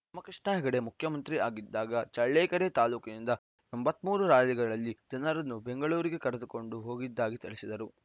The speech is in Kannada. ರಾಮಕೃಷ್ಣ ಹೆಗಡೆ ಮುಖ್ಯಮಂತ್ರಿ ಆಗಿದ್ದಾಗ ಚಳ್ಳಕೆರೆ ತಾಲೂಕಿನಿಂದ ಎಂಬತ್ತ್ ಮೂರು ಲಾರಿಗಳಲ್ಲಿ ಜನರನ್ನು ಬೆಂಗಳೂರಿಗೆ ಕರೆದುಕೊಂಡು ಹೋಗಿದ್ದಾಗಿ ತಿಳಿಸಿದರು